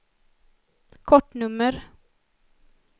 kortnummer